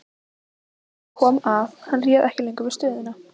Þar kom að hann réð ekki lengur við stöðuna.